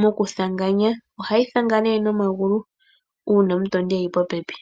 nokuthanganganya. Ohayi thanga nomagulu uuna omutondi e li popepi.